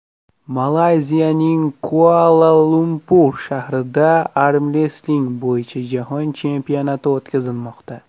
Malayziyaning Kuala-Lumpur shahrida armrestling bo‘yicha jahon chempionati o‘tkazilmoqda.